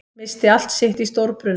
Missti allt sitt í stórbruna